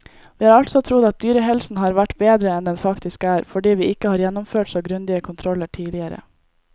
Vi har altså trodd at dyrehelsen har vært bedre enn den faktisk er, fordi vi ikke har gjennomført så grundige kontroller tidligere.